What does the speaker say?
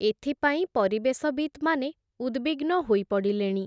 ଏଥିପାଇଁ, ପରିବେଶବିତ୍‌ମାନେ, ଉଦ୍‌ବିଗ୍ନ ହୋଇ ପଡ଼ିଲେଣି ।